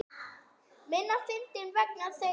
Minna fyndinn vegna þeirra.